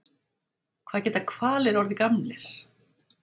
Hvað geta hvalir orðið gamlir?